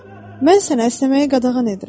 Mən sənə əsnəməyə qadağan edirəm."